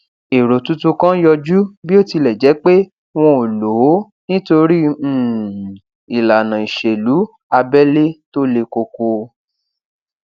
èrò tuntun kan yọjú bí ó tilẹ jé pé wọn ò lò ó nítorí um ìlànà ìṣèlú abẹlé tó le koko